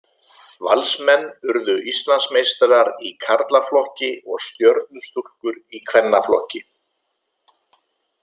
Valsmenn urðu Íslandsmeistarar í karlaflokki og Stjörnustúlkur í kvennaflokki.